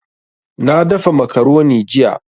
Na dafa macaroni jiya